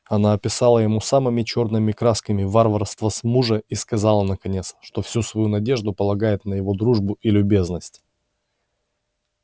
она описала ему самыми чёрными красками варварство с мужа и сказала наконец что всю свою надежду полагает на его дружбу и любезность